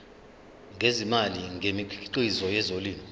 ngezimali ngemikhiqizo yezolimo